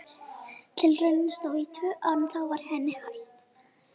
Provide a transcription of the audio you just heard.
Tilraunin stóð í tvö ár en þá var henni hætt.